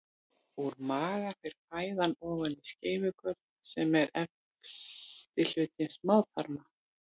Úr maga fer fæðan ofan í skeifugörn sem er efsti hluti smáþarma.